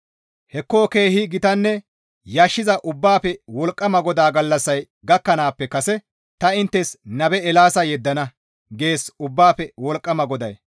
«Hekko keehi gitanne yashissiza Ubbaafe Wolqqama GODAA gallassay gakkanaappe kase ta inttes nabe Eelaasa yeddana» gees Ubbaafe Wolqqama GODAY.